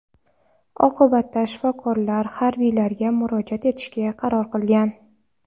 Oqibatda shifokorlar harbiylarga murojaat etishga qaror qilgan.